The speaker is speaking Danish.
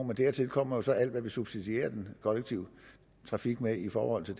men dertil kommer jo så alt hvad vi subsidierer den kollektive trafik med i forhold til